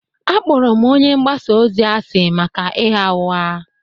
Akpọrọ m onye mgbasa ozi asị maka ịgha ụgha